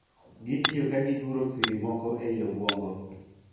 Gitiyo ka giguro kwiri moko ei obuongo.